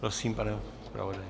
Prosím, pane zpravodaji.